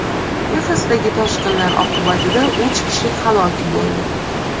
Texasdagi toshqinlar oqibatida uch kishi halok bo‘ldi.